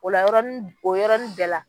O la yɔrɔn o yɔrɔnin bɛɛ la